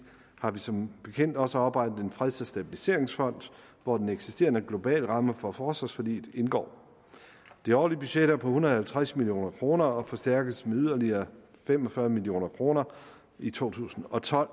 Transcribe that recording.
har vi som bekendt også oprettet en freds og stabiliseringsfond hvor den eksisterende globalramme for forsvarsforliget indgår det årlige budget er på en hundrede og halvtreds million kroner og forstærkes med yderligere fem og fyrre million kroner i to tusind og tolv